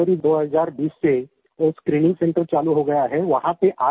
वहाँ पे जनवरी 2020 से एक स्क्रीनिंग सेंटर चालू हो गया है